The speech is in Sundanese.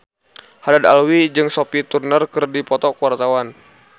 Haddad Alwi jeung Sophie Turner keur dipoto ku wartawan